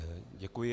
Děkuji.